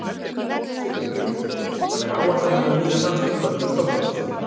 Sighvatur Jónsson: Þannig að áætlanir um nýjan Landspítala munu standast?